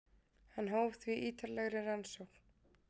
Hann hóf því ítarlegri rannsókn.